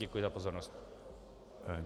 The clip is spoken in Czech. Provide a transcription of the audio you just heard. Děkuji za pozornost.